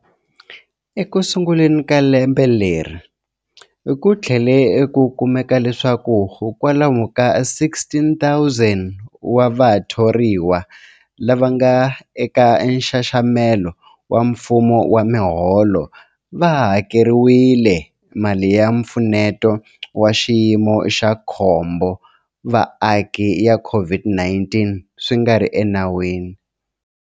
Ekusunguleni ka lembe leri, ku tlhele ku kumeka leswaku kwalomu ka 16,000 wa vathoriwa lava nga eka nxaxamelo wa mfumo wa miholo va hakeriwile mali ya Mpfuneto wa Xiyimo xa Khombo wa Vaaki ya COVID-19 swi nga ri enawini.